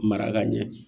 Mara ka ɲɛ